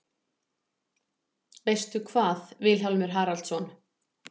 Veistu hvað, Vilhjálmur Haraldsson?